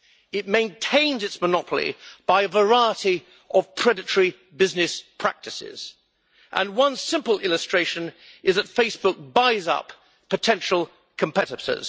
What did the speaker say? It maintains its monopoly by a variety of predatory business practices, and one simple illustration is that Facebook buys up potential competitors.